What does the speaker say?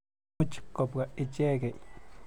Imuch kopwa ichekei.